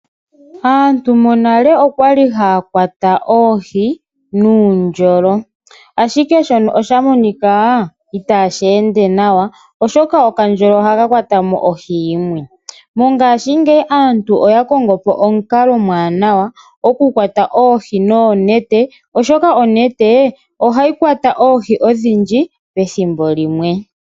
Aantu monale okwali hakwata oohi nuundjolo ashike shono oshamonika itashende nawa oshoka okandjolo oha kakwatamo ohi yimwe mongashi ngeyi aantu oyakongopo omunkalo omwanawa okukwata oohi noonete, oshoka onete ohayi kwata oohi odhindji pethimbo limwe.